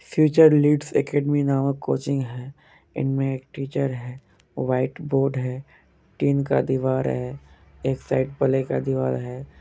Future leads academy नामक coaching है। इनमे एक टीचर है। व्हाइट बोर्ड है। टीन का दीवार है। एक साइड प्लाइ का दीवार है।